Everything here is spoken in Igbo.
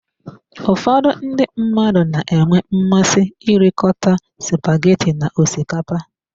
Ụfọdụ ndị mmadụ na-enwe mmasị irikọta spaghetti na osikapa.